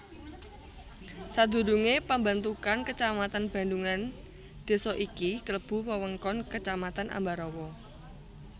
Sadurungé pambentukan kecamatan Bandhungan désa iki klebu wewengkon Kecamatan Ambarawa